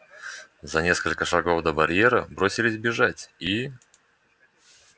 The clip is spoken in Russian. за несколько шагов до барьера бросились бежать и